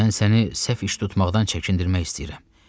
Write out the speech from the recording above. Mən səni səhv iş tutmaqdan çəkindirmək istəyirəm.